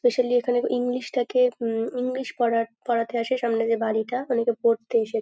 specially এখানে English টাকে উম ইংলিশ পড়া পড়াতে আসে সামনে যে বাড়িটা অনেকে পড়তে এসে--